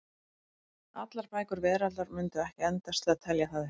Allar bækur veraldar mundu ekki endast til að telja það upp.